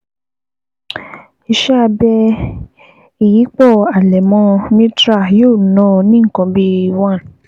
Ìṣẹ́ abẹ ìyípọ̀ àlẹmọ mitral yóò ná ọ ní nǹkan bíi one